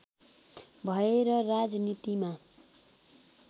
भएर राजनीतिमा